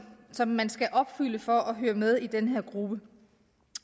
som man skal opfylde for at høre med i den her gruppe